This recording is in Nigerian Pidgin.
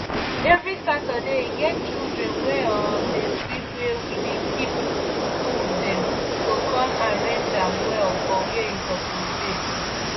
every saturday e get children wey um dey sweep were we dey keep tools them go com arrange am well for were e suppose dey